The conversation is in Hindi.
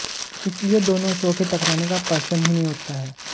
इसलिए दोनों शो के टकराने का प्रश्न ही नहीं उठता है